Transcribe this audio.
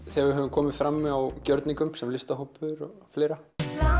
þegar við höfum komið fram á gjörningum sem listahópur og fleira